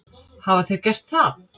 Hafa þeir gert það?